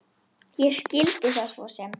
Ég skildi það svo sem.